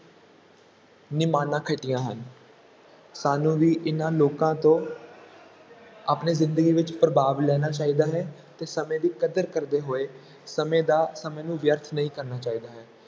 ਨਿਮਾਨਾਂ ਖੱਟੀਆਂ ਹਨ, ਸਾਨੂੰ ਵੀ ਇਹਨਾਂ ਲੋਕਾਂ ਤੋਂ ਆਪਣੇ ਜ਼ਿੰਦਗੀ ਵਿੱਚ ਪ੍ਰਭਾਵ ਲੈਣਾ ਚਾਹੀਦਾ ਹੈ, ਤੇ ਸਮੇਂ ਦੀ ਕਦਰ ਕਰਦੇ ਹੋਏ, ਸਮੇਂ ਦਾ ਸਮੇਂ ਨੂੰ ਵਿਅਰਥ ਨਹੀਂ ਕਰਨਾ ਚਾਹੀਦਾ ਹੈ।